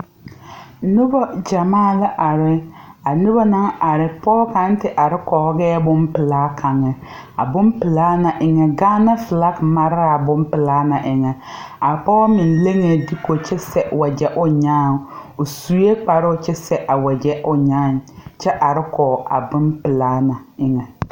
Nobɔ gyamaa la are a nobɔ naŋ are pɔɔ kaŋ te are kɔgɛɛ bonpelaa kaŋe a bonpelaa na eŋɛ gaana filaki mare laa bonpelaa na eŋɛ a pɔɔ meŋ leŋee duko kyɛ sɛ wagyɛ o nyaaŋ o suee kparoo kyɛ sɛ a wagyɛ o nyaaŋ kyɛ are kɔg a bonpelaa na eŋɛ.